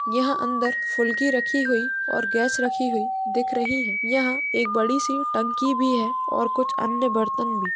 यहाँ अंदर फुल्की रखी हुई और गैस रखी हुई दिख रही है। यहाँ एक बड़ी सी टंकी भी है और कुछ अन्य बर्तन भी।